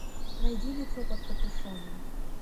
найди лицо под капюшоном